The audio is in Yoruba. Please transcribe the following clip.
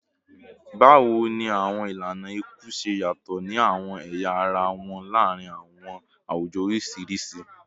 Bawo ni awọn ilana iku ṣe yatọ ni awọn ẹya ara wọn laarin awọn awujọ oriṣiriṣi?